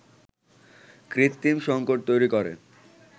কৃত্রিম সংকট তৈরি করে